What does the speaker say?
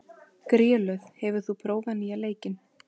Grélöð, hefur þú prófað nýja leikinn?